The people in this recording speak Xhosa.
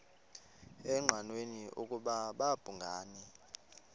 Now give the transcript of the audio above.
engqanweni ukuba babhungani